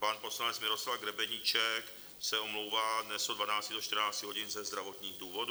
Pan poslanec Miroslav Grebeníček se omlouvá dnes od 12 do 14 hodin ze zdravotních důvodů.